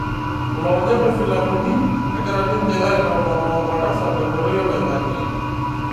Ilonyor filamuni, egira ninje aitomonoo oltasat tenkoitoi oloing'ang'e.